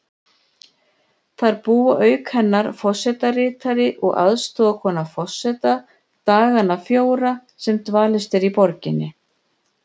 Þar búa auk hennar forsetaritari og aðstoðarkona forseta dagana fjóra sem dvalist er í borginni.